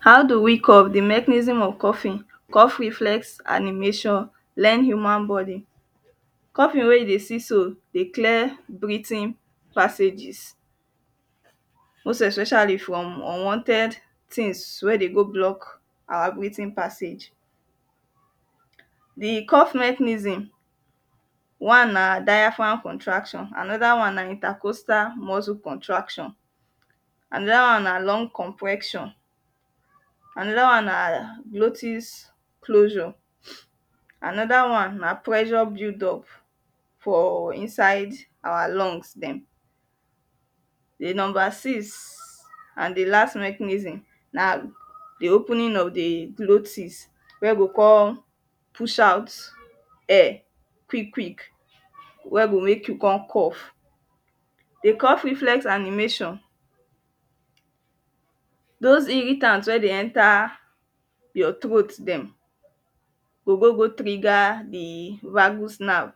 how do we cough; the mechanism of coughing coughing flex animation, learn human body coughing wey e dey see so dey clear breathing passages. most especially from unwanted things wey dey go block our breathing passages the cough mechanism one na diaphragm contraction, anoda one na intercostal muscle contraction, anoda one na lung compression anoda one na glottis closure anoda one na pressure buildup for inside our lungs dem the no six an the last mechanism na the opening of the glottis wey go come push out air quick quick we go make you come cough. the cough reflex animation. those irritants wey dey enter your throat dem go go go trigger the vergus nerve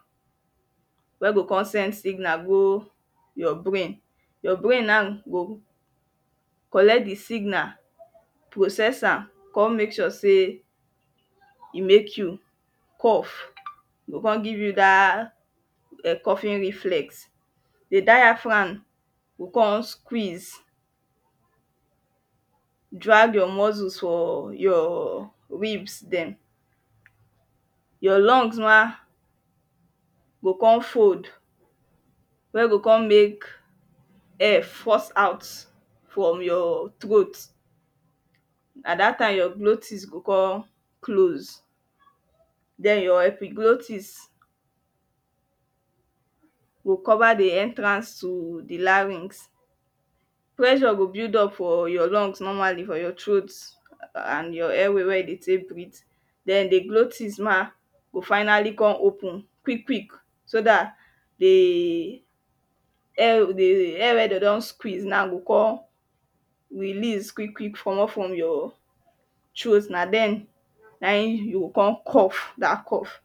wey go come send signal go your brain. your brain now go collect the signal, process am come make sure sey e make you cough. e come give you dah coughing reflex. the diaghram go come squeeze drag your muscles for your ribs dem your lungs ma go come fold wey go come make air force out from your throat, na that time your glotis go come close then your epiglottis go cover the entrance to the larynx. pressure go build up for your lungs normally for your throat and your airway wey you dey take breathe then the glostis mah go finally come open quick quick so that the air the air wey dem don squeeze na go come release quick quick comot form your throat. na e you go come cough that cough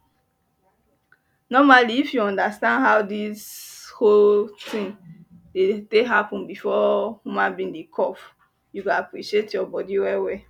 normally if you understand how this whole thing dey take happen before human being dey cough, you go appreciate your body well well.